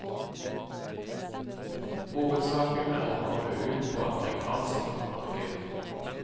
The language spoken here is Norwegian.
Hovedsaken er å komme ut på amerikansk marked.